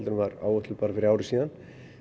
en var áætluð bara fyrir ári síðan